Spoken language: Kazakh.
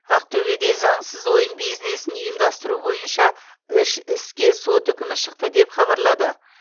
ақтөбеде заңсыз ойын бизнесін ұйымдастыру бойынша үш іске сот үкімі шықты деп хабарлады